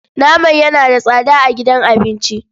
Naman yana da tsada a gidan abinci.